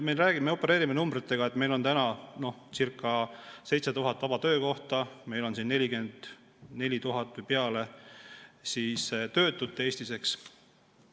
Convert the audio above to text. Me opereerimine numbritega, et meil on circa 7000 vaba töökohta ja 44 000 või natuke peale töötut Eestis, eks.